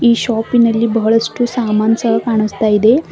ಈ ಶಾಪಿನಲ್ಲಿ ಬಹಳಷ್ಟು ಸಾಮಾನ್ ಸಹ ಕಾಣಿಸ್ತಾ ಇದೆ.